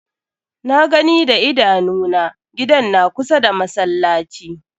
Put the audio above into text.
Na gani da idanu na, gidan na kusa da masallaci.